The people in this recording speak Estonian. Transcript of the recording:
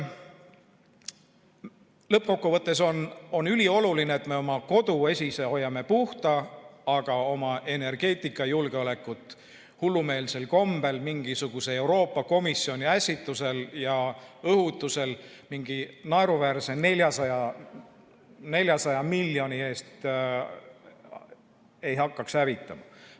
Lõppkokkuvõttes on ülioluline, et me hoiame oma koduesise puhta, aga oma energeetikajulgeolekut hullumeelsel kombel mingisuguse Euroopa Komisjoni ässitusel ja õhutusel mingi naeruväärse 400 miljoni eest ei hakkaks hävitama.